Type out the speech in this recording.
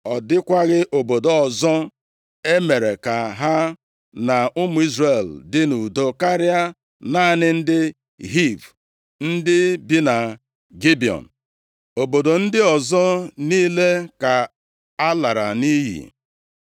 Ọ dịkwaghị obodo ọzọ e mere ka ha na ụmụ Izrel dị nʼudo karịa naanị ndị Hiv, ndị bi na Gibiọn. Obodo ndị ọzọ niile ka a lara nʼiyi.